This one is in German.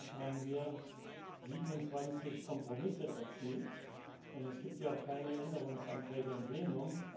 In der Tat haben wir 27 Kompromisse erzielt, und es gibt ja auch keine Änderungsanträge im Plenum.